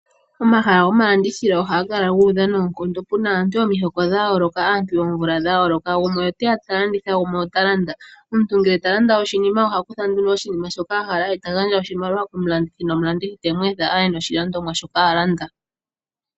Omahala gomalandithilo ohaga kala guudha noonkondo, muna aantu yomihoko dhayooloka , aantu yoomvula dha yooloka, gumwe oteya ta landitha, gumwe ota landa. Omuntu ngele tala landa ohaku tha oshinima shoka ahala eta gandja oshimaliwa komulandithi, ye omulandithi temu etha aye noshi landomwa shoka a landa.